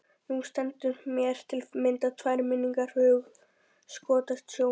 Nú standa mér til að mynda tvær minningar fyrir hugskotssjónum.